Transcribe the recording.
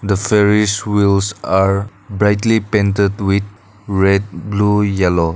are brightly painted with red blue yellow.